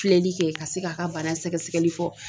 Filɛlikɛ ka se k'a ka bana sɛgɛsɛgɛli fɔ.